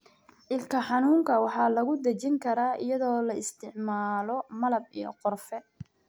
Ilkaha xanuunka waxaa lagu dejin karaa iyadoo la isticmaalo malab iyo qorfe.